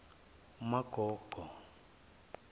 magoge